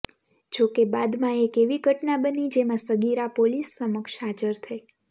જોકે બાદમાં એક એવી ઘટના બની જેમાં સગીરા પોલીસ સમક્ષ હાજર થઈ